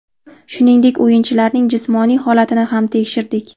Shuningdek, o‘yinchilarning jismoniy holatini ham tekshirdik.